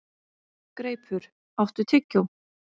Greipur, áttu tyggjó?